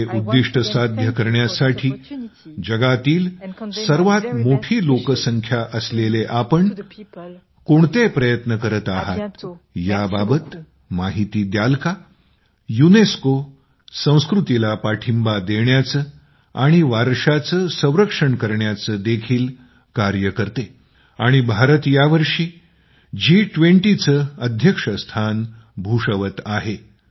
हे उद्दिष्ट साध्य करण्यासाठी जगातील सर्वात मोठी लोकसंख्या असलेले आपण कोणते प्रयत्न करत आहात याबाबत माहिती द्याल का युनेस्को संस्कृतीला पाठिंबा देण्याचे आणि वारशाचे संरक्षण करण्याचे देखील कार्य करते आणि भारत यावर्षी G20 चे अध्यक्षस्थान भूषवत आहे